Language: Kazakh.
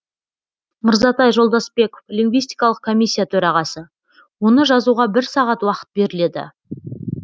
мырзатай жолдасбеков лингвистикалық комиссия төрағасы оны жазуға бір сағат уақыт беріледі